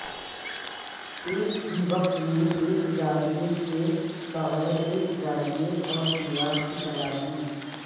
ایک ہی وقت میں ایک زاویہ کے بغیر ایک زاویہ اور دیوار کی تلاش میں